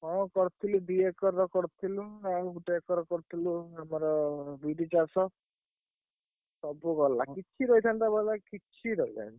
ହଁ କରିଥିଲୁ ଦି ଏକର ର କରିଥିଲୁ ଆଉ ଗୋଟେ ଏକର କରିଥିଲୁ ଆମର ବିରି ଚାଷ ସବୁ ଗଲା କିଛି ରହିଥାନ୍ତା ଭଲା କିଛି ରହିଲାନି।